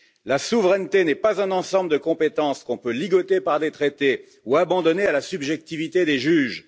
La souveraineté n'est pas un ensemble de compétences qu'on peut ligoter par des traités ou abandonner à la subjectivité des juges.